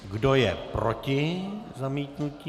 Kdo je proti zamítnutí?